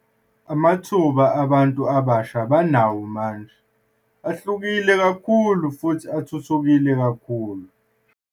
Amathuba abantu abasha abanawo manje ahlukile kakhulu futhi athuthukile kakhulu.